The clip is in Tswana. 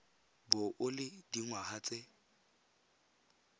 bo o le dingwaga tse